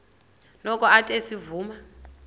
noko athe ezivuma